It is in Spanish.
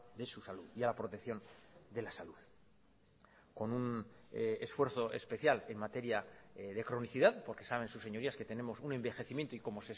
de su salud y a la protección de la salud con un esfuerzo especial en materia de cronicidad porque saben sus señorías que tenemos un envejecimiento y como